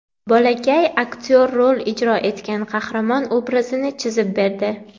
Bolakay aktyor rol ijro etgan qahramon obrazini chizib berdi.